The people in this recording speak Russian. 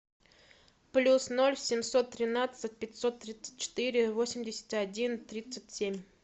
плюс ноль семьсот тринадцать пятьсот тридцать четыре восемьдесят один тридцать семь